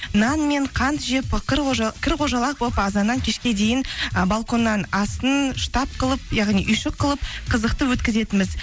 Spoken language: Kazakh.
нан мен қант жеп кір қожалақ болып азаннан кешке дейін ы балконның астын штаб қылып яғни үйшік қылып қызықты өткізетінбіз